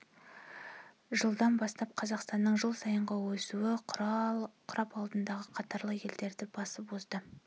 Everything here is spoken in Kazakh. жылдан бастап қазақстанның жыл сайынғы өсуі құрап алдыңғы қатарлы елдерді басып озды